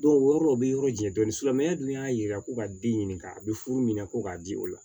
o yɔrɔ o bɛ yɔrɔ jɛ dɔɔnin silamɛya dun y'a yira ko ka den ɲininka a bɛ furu minɛ ko k'a di o la